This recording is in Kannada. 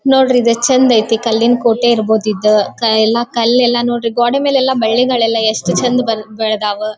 ನೋಡ್ರಿ ಇದು ಎಷ್ಟು ಚಂದ್ ಐತೆ ಕಲ್ಲಿನ ಕೋಟೆ ಇರಬಹುದು ಇದು. ಕಲ್ಲು ಎಲ್ಲ ನೋಡ್ರಿ ಗೋಡೆ ಮೇಲೆ ಬಳ್ಳಿಗಳೆಲ್ಲ ಎಷ್ಟು ಚಂದ್ ಬೆಳೆದಾವು.